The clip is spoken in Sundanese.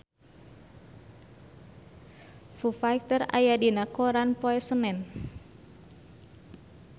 Foo Fighter aya dina koran poe Senen